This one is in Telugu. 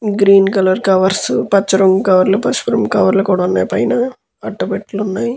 గ్రీన్ కలర్ కవర్స్ పచ్చ రంగు కవర్లు పసుపు రంగు కవర్లు కూడా ఉన్నాయి. పైన అట్టపెట్టలు ఉన్నాయ్.